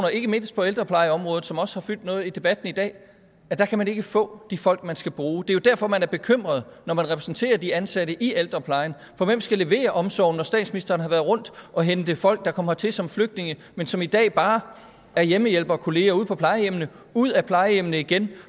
ikke mindst på ældreplejeområdet som også har fyldt noget i debatten i dag der kan man ikke få de folk man skal bruge det er jo derfor man er bekymret når man repræsenterer de ansatte i ældreplejen for hvem skal levere omsorgen når statsministeren har været rundt og hente folk der kom hertil som flygtninge men som i dag bare er hjemmehjælpere og kolleger ude på plejehjemmene ud af plejehjemmene igen